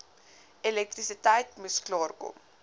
elektrisiteit moes klaarkom